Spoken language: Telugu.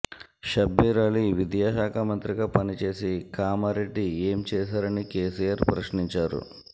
షబ్బీర్ అలీ విద్యాశాఖ మంత్రిగా పనిచేసి కామారెడ్డి ఏం చేశారని కేసీఆర్ ప్రశ్నించారు